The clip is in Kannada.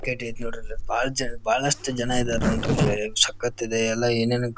ನೋಡ್ರಿ ಇಲ್ ಬಹಳ ಬಹಳಷ್ಟು ಜನ ಇದ್ದಾರೆ ನೋಡಿ ಎನ್ ಸಕ್ಕತ್ ಇದೆ ಎಲ್ಲ ಏನೇನ್--